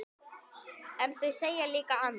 En þau segja líka annað.